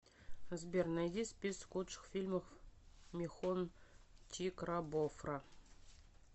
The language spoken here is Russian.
сбер найди список лучших фильмов михон чикрабофра